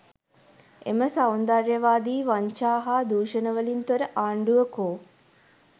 එම සෞන්දර්යවාදී වංචා හා දුෂණ වලින් තොර ආණ්ඩුව කෝ?